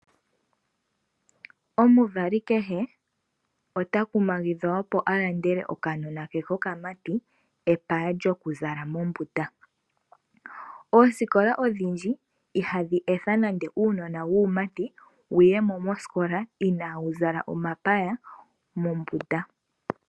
Omuvali kehe ota kumagidhwa opo alandele okanona ke kokamati epaya lyokuzala mombunda. Oosikola odhindji ihadhi etha nande uunona wuumati wuyemo moskola inawu zala omapaya mombunda.